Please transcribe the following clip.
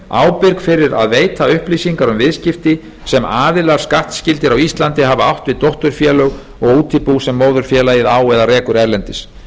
ábyrg fyrir að veita upplýsingar um viðskipti sem aðilar skattskyldir á íslandi hafi átt við dótturfélög og útibú sem móðurfélagið á eða rekur erlendis